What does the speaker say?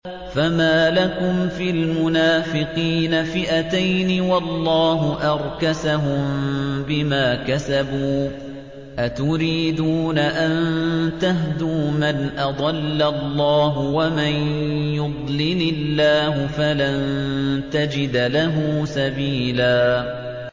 ۞ فَمَا لَكُمْ فِي الْمُنَافِقِينَ فِئَتَيْنِ وَاللَّهُ أَرْكَسَهُم بِمَا كَسَبُوا ۚ أَتُرِيدُونَ أَن تَهْدُوا مَنْ أَضَلَّ اللَّهُ ۖ وَمَن يُضْلِلِ اللَّهُ فَلَن تَجِدَ لَهُ سَبِيلًا